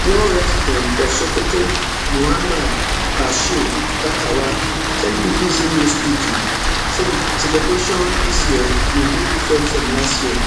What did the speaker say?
one resident for sokoto muhammad bashir gatawa tell bbc news pidgin say di celebration dis year go dey different from last year